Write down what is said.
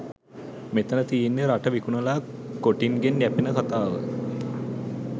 මෙතන තියන්නෙ රට විකුනලා කොටින්ගෙන් යැපෙන කතාව.